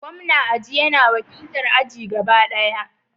Gwamna aji yana wakiltar aji gaba ɗaya.